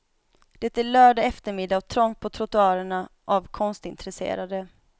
Det är lördag eftermiddag och trångt på trottoarerna av konstintresserade.